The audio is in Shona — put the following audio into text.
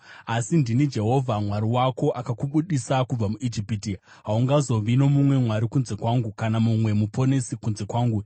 “Asi ndini Jehovha Mwari wako, akakubudisa kubva muIjipiti. Haungazovi nomumwe Mwari kunze kwangu; kana mumwe Muponesi kunze kwangu.